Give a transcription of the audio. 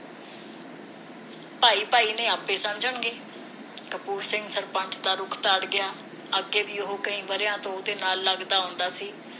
ਭਾਈ ਭਾਈ ਨੇ ਆਪਣੇ ਸਮਝਣਗੇ ਕਪੂਰ ਸਿੰਘ ਸਰਪੰਚ ਦਾ ਰੁਖ ਧਾਰ ਗਿਆ ਅੱਗੇ ਵੀ ਉਹ ਕਈ ਵਰਿਆਂ ਤੋਂ ਉਹਦੇ ਨਾਲ ਲੱਗਦਾ ਆਉਂਦਾ ਸੀ